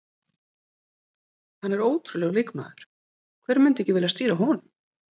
Hann er ótrúlegur leikmaður, hver myndi ekki vilja stýra honum?